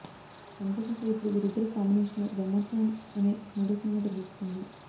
అంతేకాక ఇప్పుడు వీరిద్దరి కాంబినేషన్లో బ్రహ్మోత్సవం అనే మూడో సినిమా తెరకెక్కుతుంది